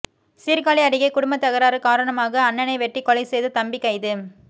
சீர்காழி அருகே குடும்ப தகராறு காரணமாக அண்ணனை வெட்டிக்கொலை செய்த தம்பி கைது